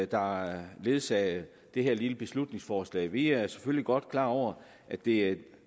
der har ledsaget det her lille beslutningsforslag vi er selvfølgelig godt klar over at det er et